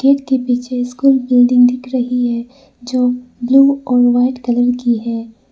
Gate के पीछे school building दिख रही है जो ब्लू और वाइट कलर की है।